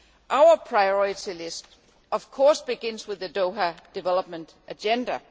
Our priority list, of course, begins with the Doha Development Agenda.